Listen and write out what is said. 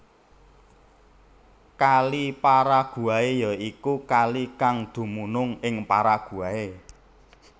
Kali Paraguay ya iku kalikang dumunung ing Paraguay